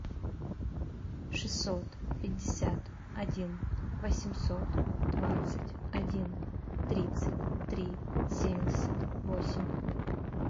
шестьсот пятьдесят один восемьсот двадцать один тридцать три семьдесят восемь